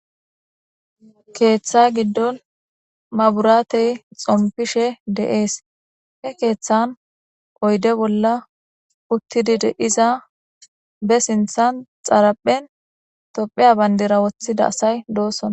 keeththa giddon maburatey xompishe de'ees he keeththan oyde bolla uttidi de'iza be sinthan xaraphen tophiya bayndera woththida asay doosona